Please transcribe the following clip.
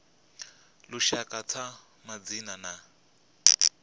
a lushaka tsha madzina a